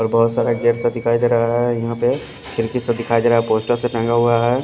बहुत सारे गेम सा दिखाई दे रहा है यहाँ पे खिड़की से दिखाई दे रहा है पोस्टर सा टंगा हुआ है।